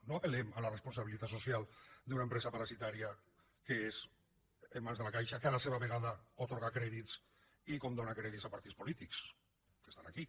no apelcial d’una empresa parasitària que és en mans de la caixa que a la seva vegada atorga crèdits i condona crèdits a partits polítics que estan aquí